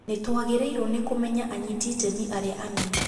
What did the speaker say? Nĩtwagĩrĩirwo nĩ kũmenya anyiti itemi arĩa anene